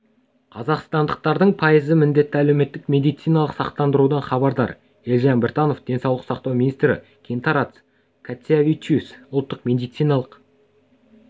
қазақстандықтардың пайызы міндетті әлеуметтік медициналық сақтандырудан хабардар елжан біртанов денсаулық сақтау министрі гинтарас кацявичюс ұлттық медициналық